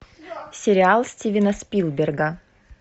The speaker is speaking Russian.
сериал стивена спилберга